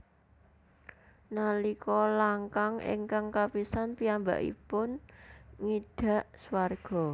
Nalika langkang ingkah kapisan piyambakipun ngidak swarga